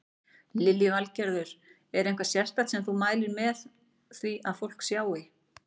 Lillý Valgerður: Er eitthvað sérstakt sem þú mælir með því að fólk sjái?